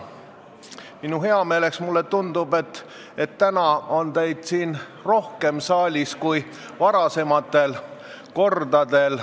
Minu heameeleks tundub, et täna on teid siin saalis rohkem kui varasematel kordadel.